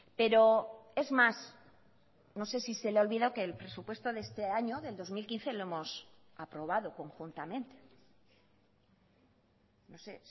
pero es más no sé si se le ha olvidado que el presupuesto de este año del dos mil quince lo hemos aprobado conjuntamente no sé